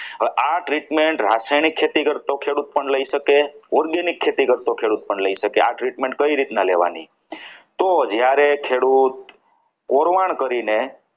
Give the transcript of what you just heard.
હવે આ treatment રાસાયણિક ખેતી કરતો ખેડૂત પણ લઈ શકે organic ખેતી કરતો ખેડૂત પણ લઈ શકે આ treatment કઈ રીતના લેવાની? તો જ્યારે ખેડૂત પુરવાણ કરીને